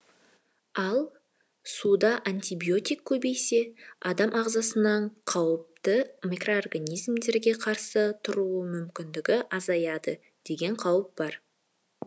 ал суда антибиотик көбейсе адам ағзасының қауіпті микроорганизмдерге қарсы тұру мүмкіндігі азаяды деген қауіп бар